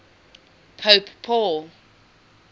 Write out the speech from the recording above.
pope paul